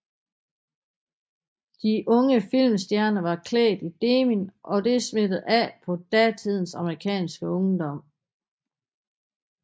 De unge filmstjerner var klædt i denim og det smittede af på datiden amerikanske ungdom